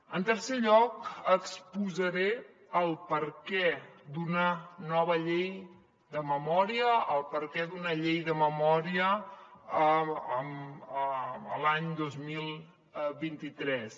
en tercer lloc exposaré el perquè d’una nova llei de memòria el perquè d’una llei de memòria l’any dos mil vint tres